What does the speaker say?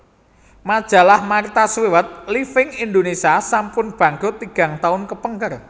Majalah Martha Stewart Living Indonesia sampun bangkrut tigang tahun kepengker